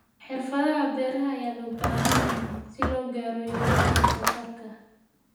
Xirfadaha beeraha ayaa loo baahan yahay si loo gaaro yoolalka wax soo saarka.